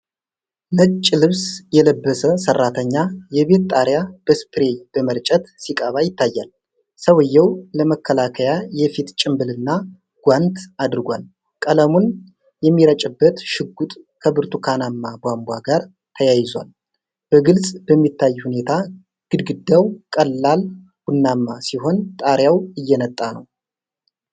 ነጭ ልብስ የለበሰ ሠራተኛ የቤት ጣሪያ በስፕሬይ በመርጨት ሲቀባ ይታያል። ሰውዬው ለመከላከያ የፊት ጭንብልና ጓንት አድርጓል፤ ቀለሙን የሚረጭበት ሽጉጥ ከብርቱካናማ ቧንቧ ጋር ተያይዟል። በግልጽ በሚታይ ሁኔታ ግድግዳው ቀላል ቡናማ ሲሆን ጣሪያው እየነጣ ነው።